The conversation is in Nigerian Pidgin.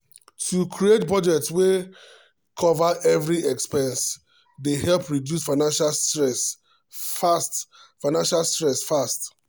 to create budget wey cover every expense dey help reduce financial stress fast. financial stress fast.